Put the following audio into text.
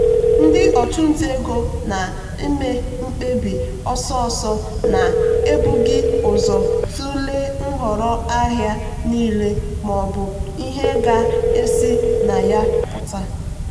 ndị ọchụnta ego na-me mkpebi ọsọsọ na-ebughị ụzọ tụlee nhọrọ ahịa niile maọbụ ihe ga-esi na ya pụta.